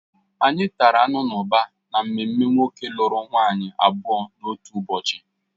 Anyị tata anụ n'ụba n'ememe nwoke lụrụ nwaanyị abụọ n'otu ụbọchị